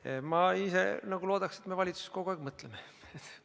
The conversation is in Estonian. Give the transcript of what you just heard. Ja ma ise loodan, et me valitsuses kogu aeg mõtleme.